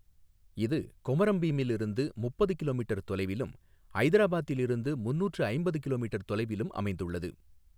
இது கொமரம் பீமில் இருந்து முப்பது கிலோமீட்டர் தொலைவிலும், ஐதராபாத்தில் இருந்து முந்நூற்று ஐம்பது கிலோமீட்டர் தொலைவிலும் அமைந்துள்ளது.